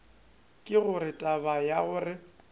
ke gore taba ya gore